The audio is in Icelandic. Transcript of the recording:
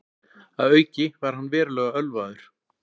Að auki var hann verulega ölvaður